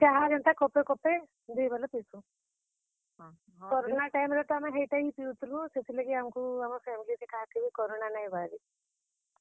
ବେଲେ ଚାହା ଏନ୍ତା କପେ କପେ ଦୁହି ବେଲ ପିସୁଁ। କରୋନା ଟାଇମ୍ ରେ ତ ଆମେ ହେଇଟା ହିଁ ପିଉଥିଲୁଁ, ସେଥିର୍ ଲାଗି ଆମକୁ ଆମର୍ family ରେ କାହାକେ ବି କରୋନା ନାଇଁ ବାହାରି।